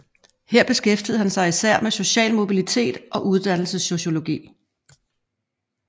Her beskæftigede han sig især med social mobilitet og uddannelsessociologi